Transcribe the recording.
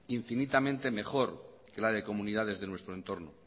infinitamente mejor que la de comunidades de nuestro entorno